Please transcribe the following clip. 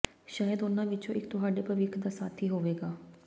ਸ਼ਾਇਦ ਉਨ੍ਹਾਂ ਵਿਚੋਂ ਇਕ ਤੁਹਾਡੇ ਭਵਿੱਖ ਦਾ ਸਾਥੀ ਹੋਵੇਗਾ